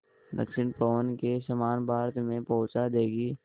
दक्षिण पवन के समान भारत में पहुँचा देंगी